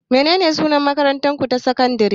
Menene sunan makarantarku ta sakandare?